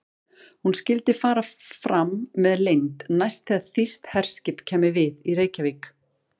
Hún skyldi fara fram með leynd, næst þegar þýskt herskip kæmi við í Reykjavík.